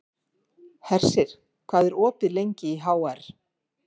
Hersir, hvað er opið lengi í HR?